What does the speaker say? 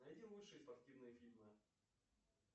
найди лучшие спортивные фильмы